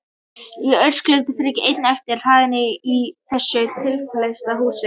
Ég skrölti frekar ein á efri hæðinni í þessu tvílyfta húsi.